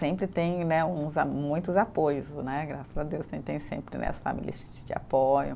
Sempre tem né uns a, muitos apoios né, graças a Deus tem sempre né, as famílias que apoiam.